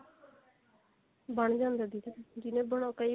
ਬਣ ਜਾਂਦਾ ਦੀਦੀ ਜਿਵੇਂ ਬਣਾ ਕਈ